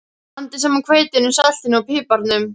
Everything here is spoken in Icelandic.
Blandið saman hveitinu, saltinu og piparnum.